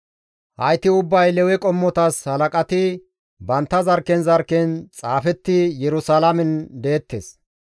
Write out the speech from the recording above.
Hayti ubbay Lewe qommotas halaqati bantta zarkken zarkken xaafettidi Yerusalaamen deettes.